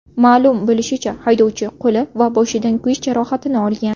Ma’lum bo‘lishicha, haydovchi qo‘li va boshidan kuyish jarohatini olgan.